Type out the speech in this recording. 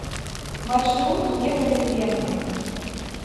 маршрут мега дыбенко